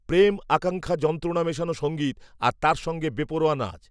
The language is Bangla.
প্রেম আকাঙ্ক্ষা যন্ত্রণা মেশানো সঙ্গীত, আর, তার সঙ্গে বেপরোয়া নাচ